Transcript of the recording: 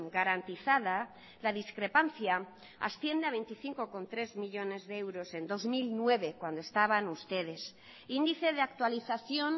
garantizada la discrepancia asciende a veinticinco coma tres millónes de euros en dos mil nueve cuando estaban ustedes índice de actualización